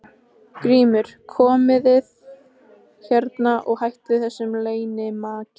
GRÍMUR: Komið þið hérna og hættið þessu leynimakki.